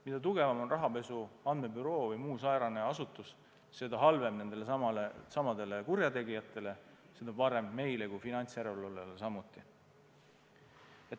Mida tugevam on rahapesu andmebüroo või muu säärane asutus, seda halvem kurjategijatele ja seda parem meile kui finantsjärelevalvele samuti.